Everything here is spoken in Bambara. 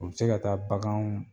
U bɛ se ka taa baganw